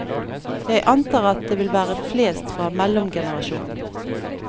Jeg antar at det vil være flest fra mellomgenerasjonen.